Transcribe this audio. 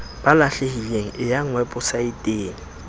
ba lahlehileng e ya weposaeteng